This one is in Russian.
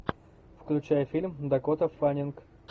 включай фильм дакота фаннинг